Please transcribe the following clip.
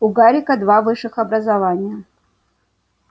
у гарика два высших образования